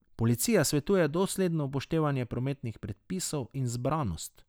Policija svetuje dosledno upoštevanje prometnih predpisov in zbranost.